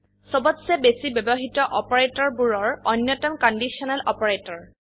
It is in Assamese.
সবতচে বেশি ব্যবহৃত অপাৰেটৰবোৰৰ অন্যতম কণ্ডিশ্যনেল অপাৰেটৰ